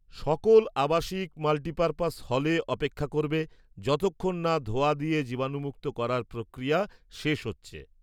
সকল আবাসিক মাল্টিপারপাস হলে অপেক্ষা করবে যতক্ষণ না ধোঁয়া দিয়ে জীবাণুমুক্ত করার প্রক্রিয়া শেষ হচ্ছে।